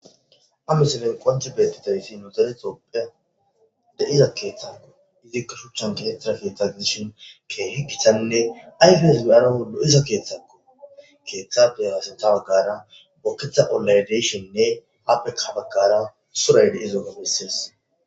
amisenen qonce beetti tayfi nutaletooppe deiza keeththakko izikka shuchchan kinetrafe tagiishon ke higitanne ayfes geyana wolo iza keeththakko keeththafe haasetha baggara bokketha olaydeshonnne happekabagkara suray de'izoga beses.